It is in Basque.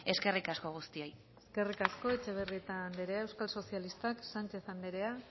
eskerrik asko guztioi eskerrik asko etxebarrieta anderea euskal sozialistak sánchez anderea